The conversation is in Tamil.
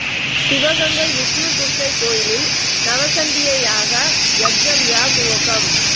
சிவகங்கை விஷ்ணு துர்க்கை கோயிலில் நவசண்டீ யாக யக்ஞ விழா துவக்கம்